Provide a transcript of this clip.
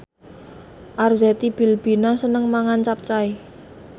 Arzetti Bilbina seneng mangan capcay